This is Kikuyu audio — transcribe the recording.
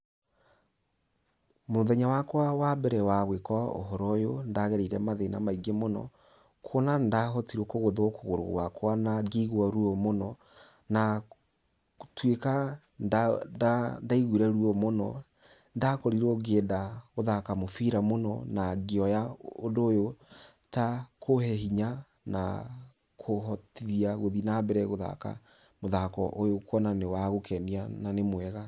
Mũthenya wakwa wa mbere wa gwĩka ũhoro ũyũ, nĩ ndagereire mathĩna maingĩ mũno, kuona nĩ ndahotire kũgũthwo kũgũrũ gwakwa na ngĩiguua ruo mũno, na gũtuĩka nĩ ndaiguire ruo mũno, nĩndakorirwo ngĩenda gũthaka mũbira mũno, na ngĩoya ũndũ ũyũ ta kũhe hinya na kũhotithia gũthiĩ na mbere gũthaka mũthako ũyũ kuona nĩ wa gũkenia na nĩ mwega.